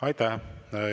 Aitäh!